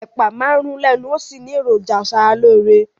Ẹ̀pà máa ń rún lẹ́nu ó sì ní èròjà aṣaralóore